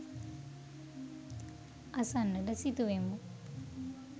අසන්නට සිතුවෙමු.